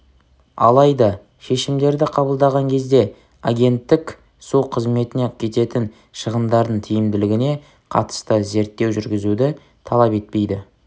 алайда шешімдерді қабылдаған кезде агенттік су қызметіне кететін шығындардың тиімділігіне қатысты зерттеу жүргізуді талап етпейді